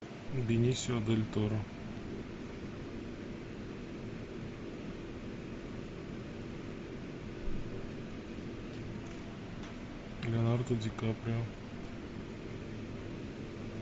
бенисио дель торо леонардо ди каприо